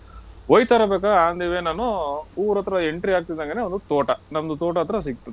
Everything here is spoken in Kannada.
ಹೋಯ್ತರಬೇಕಾರ್ on the way ನಾನು ಊರತ್ರ entry ಆಗ್ತಾ ಇದ್ಹಂಗೇನೇ ಒಂದು ತೋಟ. ನಮ್ದು ತೋಟ ಹತ್ರ ಸಿಕ್ತು.